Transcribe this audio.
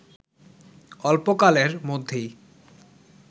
অল্পকালের মধ্যেই